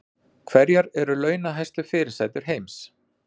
Hverjar eru launahæstu fyrirsætur heims